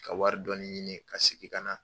Ka wari dɔɔni ɲini ka sigi ka na.